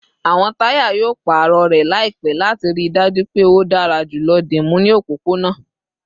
Awọn taya yoo paarọ rẹ laipẹ lati rii daju pe o dara julọ dimu ni opopona